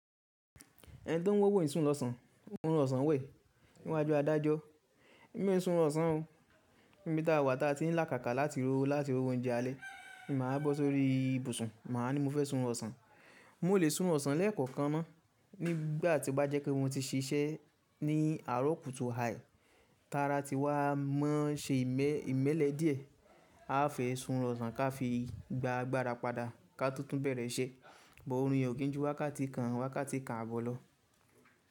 Ẹni tó ń wówo í sùn lọ́sàn, òrun ọ̀sán wẹ̀ níwájú adájọ́. Mi ò sún ọ̀sán o, níbi táa wà táa ti ní làkàká láti rówó láti rówó oúnjẹ alẹ́, màá bọ́ sórí ibùsùn, màá ní mo fẹ́ sún rún ọ̀sán. Mo lè sún ọ̀sán lẹ́ẹ̀kọ̀kan náà nígbà tí ó bá jẹ́ pé mo ti ṣisẹ́ ní àárọ̀ kùtù hà, tara ti wá mọ́ se ìmẹ́lẹ́ díẹ̀, a fẹ́ sún ọ̀sán ká fi gba gbarapa ká to tùn bẹ̀rẹ̀ iṣẹ́. Bọ̀ òrun yẹn ò kí n ju wákàtí kan, wákàtí kan àbọ̀ lọ.